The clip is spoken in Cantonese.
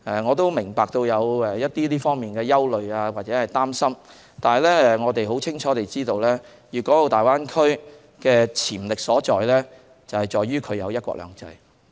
我明白這方面的憂慮或擔心，但我們很清楚知道粵港澳大灣區的潛力所在，是由於它有"一國兩制"。